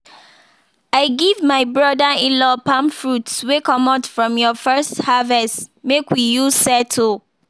i give my brother inlaw palm fruits wey comot from ur first harvest make we use settle.